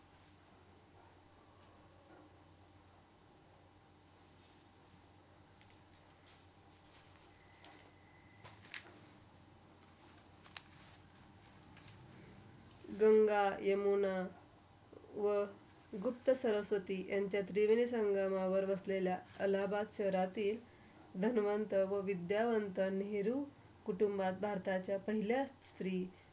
गंगा, यमुना व गुप्त सरस्वती याच्या त्रिवेणी संगावर बसलेल्या अलाहाबाद शेहरातील धन्वंत व विध्ययवंत नेहरू कुटुंबात भारताच्या पहिल्या स्त्री.